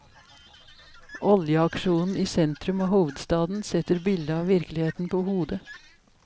Oljeaksjonen i sentrum av hovedstaden setter bildet av virkeligheten på hodet.